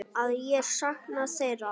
Að ég sakna þeirra.